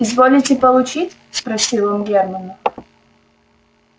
изволите получить спросил он германна